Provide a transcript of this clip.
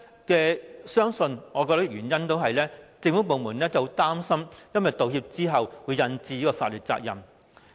我相信背後原因是政府部門擔心在道歉後會引致法律責任。